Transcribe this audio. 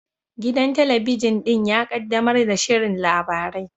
Gidan talabijin ɗin ya kaddamar da shirin labarai